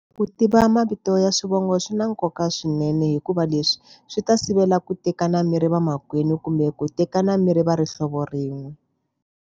Ku tiva mavito ya swivongo swi na nkoka swinene hikuva leswi, swi ta sivela ku tekana miri vamakwenu kumbe ku tekana mirhi va ri hlovo rin'we.